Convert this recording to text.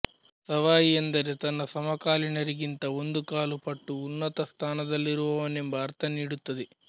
ಸವಾಯಿ ಎಂದರೆ ತನ್ನ ಸಮಕಾಲೀನರಿಗಿಂತ ಒಂದು ಕಾಲು ಪಟ್ಟು ಉನ್ನತ ಸ್ಥಾನದಲ್ಲಿರುವವನೆಂಬ ಅರ್ಥ ನೀಡುತ್ತದೆ